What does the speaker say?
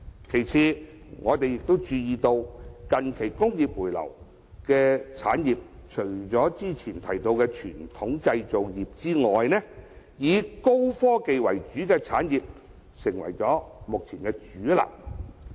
其次，我們亦注意到近期回流的產業中，除早前提到的傳統製造業外，以高科技為主的產業已成為目前的主流。